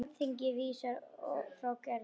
Alþingi vísar umsókn Gerðar frá.